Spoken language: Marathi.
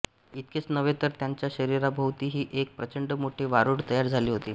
इतकेच नव्हे तर त्यांच्या शरीराभोवतीही एक प्रचंड मोठे वारूळ तयार झाले होते